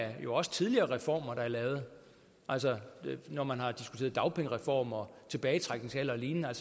også tidligere reformer der er lavet når man har diskuteret dagpengereform og tilbagetrækningsalder og lignende er